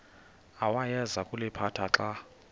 awayeza kuliphatha xa